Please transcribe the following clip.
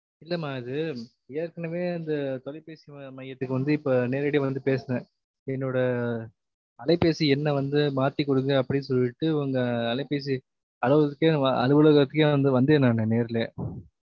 இல்லாம அது ஏற்கனவே அந்த தொலைபேசி மையத்துக்கு வந்து இப்ப நேரடியா வந்து பேசுன, என்னோட அலைபேசி எண்ண வந்து மாத்தி குடுங்க அப்டினு சொல்ட்டு இவங்க அலைபேசி அவலகத்துக்கே அலுவலகத்துக்கே வந்து வந்தேன் நானு நேர்லயே